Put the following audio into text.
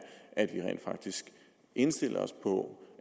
at vi rent faktisk indstiller os på